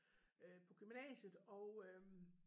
Øh på gymnasiet og øh